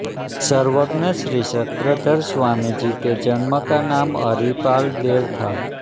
सर्वज्ञ श्रीचक्रधर स्वामीजी के जन्म का नाम हरीपालदेव था